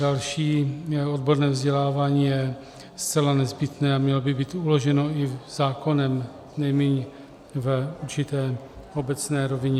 Další: odborné vzdělávání je zcela nezbytné a mělo by být uloženo i zákonem, nejmíň v určité obecné rovině.